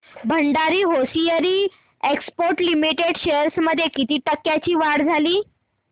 Bhandari hosiery exports limited shares मध्ये किती टक्क्यांची वाढ झाली